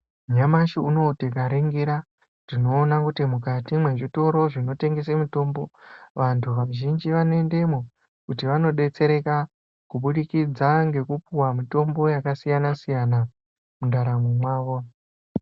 Nyamashi unowu tikaningira tinoona kuti mukati kwezvitoro zvinotengesa mitombo vantu vazhinji vanoendamwo kuti vandodetsereka kubudikidza ngekupuwa mitombo yakasiyana siyana mundaramwo mawo.